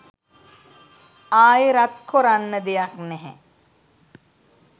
ආයෙ රත් කොරන්න දෙයක් නැහැ